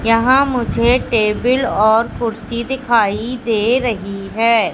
यहां मुझे टेबल और कुर्सी दिखाई दे रही है।